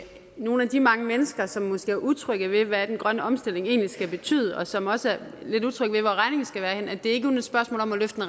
nogle af de mange mennesker som måske er utrygge ved hvad den grønne omstilling egentlig skal betyde og som også er lidt utrygge ved hvorhenne regningen skal være at det ikke kun er et spørgsmål om at løfte